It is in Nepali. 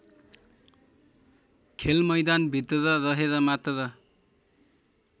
खेलमैदानभित्र रहेर मात्र